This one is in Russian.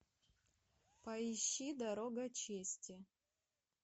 поищи дорога чести